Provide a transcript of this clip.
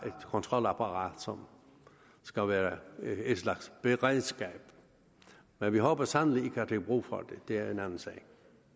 et kontrolapparat som skal være en slags beredskab men vi håber sandelig ikke at der bliver brug for det det er en anden sag